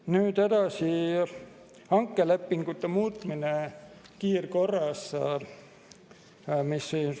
Nüüd edasi, hankelepingute muutmine kiirkorras.